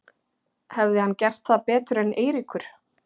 Hefði hann gert það betur en Eiríkur?